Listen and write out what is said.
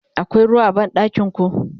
akwai ruwa a banɗakinku?